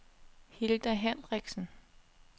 Hilda Hendriksen